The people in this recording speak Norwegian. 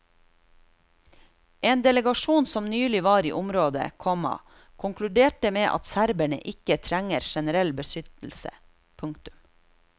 En delegasjon som nylig var i området, komma konkluderte med at serberne ikke trenger generell beskyttelse. punktum